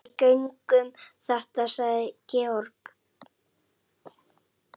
Við göngum þetta sagði Georg.